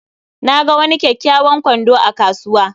Na ga wani kyakkyawan kwando a kasuwa